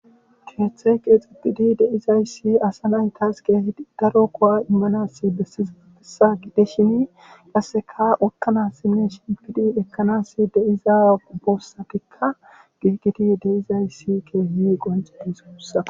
keeththey keexidi de'izayssi asa naytas keehi daro kowa immanassi bessizaafesa gide shini qasseka utkanas sinne shingidi ekkanas deiza boossatikka giigiti deizayssi keehi qonxi bisossa